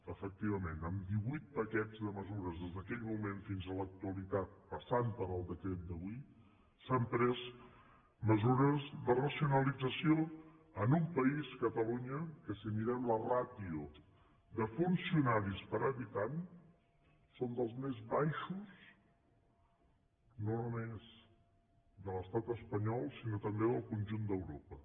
efectivament amb divuit paquets de mesures des d’aquell moment fins a l’actualitat passant per el decret d’avui s’han pres mesures de racionalització en un país catalunya que si mirem la ràtio de funcionaris per habitant som dels més baixos no només de l’estat espanyol sinó també del conjunt d’europa